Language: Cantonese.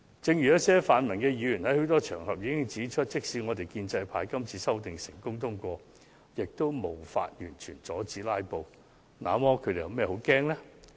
正如一些泛民議員也曾在多個場合指出，即使建制派今次的修正案成功獲得通過，也無法完全阻止他們繼續"拉布"。